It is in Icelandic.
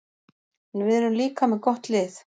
En við erum líka með gott lið.